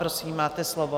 Prosím, máte slovo.